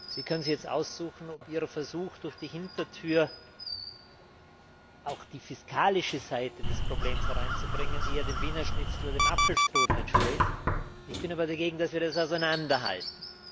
Sie können sich jetzt aussuchen, ob Ihr Versuch, durch die Hintertür auch die fiskalische Seite des Problems hereinzubringen, eher dem Wiener Schnitzel oder dem Apfelstrudel entspricht. Ich bin aber dagegen, dass wir das auseinanderhalten.